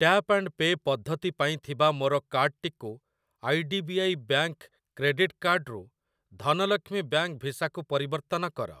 Tap and pay ପଦ୍ଧତି ପାଇଁ ଥିବା ମୋର କାର୍ଡ୍‌ଟିକୁ I D B I bank credit card ରୁ ଧନଲକ୍ଷ୍ମୀ ବ୍ୟାଙ୍କ୍‌ ଭିସା କୁ ପରିବର୍ତ୍ତନ କର।